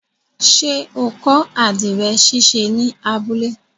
Ṣé o kọ́ àdìrẹ̀ ṣíṣe ní abúlé?